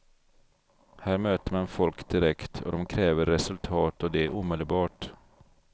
Här möter man folk direkt och de kräver resultat och det omedelbart.